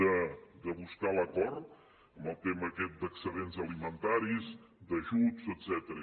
de buscar l’acord en el tema aquest d’excedents alimentaris d’ajuts etcètera